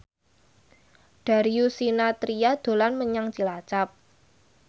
Darius Sinathrya dolan menyang Cilacap